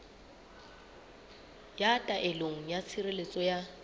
ya taelo ya tshireletso ya